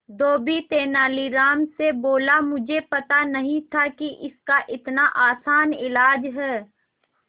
धोबी तेनालीराम से बोला मुझे पता नहीं था कि इसका इतना आसान इलाज है